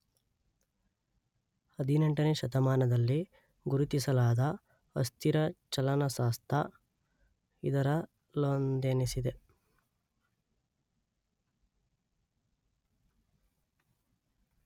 ಹದಿನೆಂಟನೇ ಶತಮಾನದಲ್ಲಿ ಗುರುತಿಸಲಾದ ಅಸ್ಥಿರ ಚಲನಶಾಸ್ತ್ರ ಇದರಲ್ಲೊಂದೆನಿಸಿದೆ.